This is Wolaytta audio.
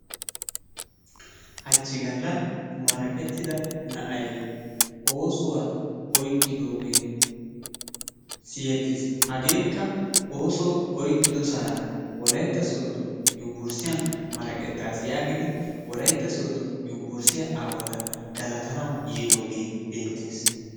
Hachchi galla maraqettida na'ay oosuwa oykkidoogee siyettiis. Hageekka ooso oykkido sohuwara Wolaytta sooddo yunbburssiyan maraqettaasi yaagidi Wolaytta sooddo yunbburssiya aawata galatanawu yiidoogee beettees.